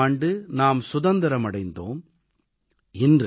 1947ஆம் ஆண்டு நாம் சுதந்திரம் அடைந்தோம்